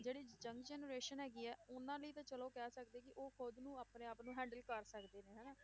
ਜਿਹੜੀ young generation ਹੈਗੀ ਆ, ਉਹਨਾਂ ਲਈ ਤਾਂ ਚਲੋ ਕਹਿ ਸਕਦੇ ਕਿ ਉਹ ਖੁੱਦ ਨੂੰ ਆਪਣੇ ਆਪ ਨੂੰ handle ਕਰ ਸਕਦੇ ਨੇ ਹਨਾ,